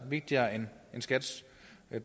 vigtigere end skats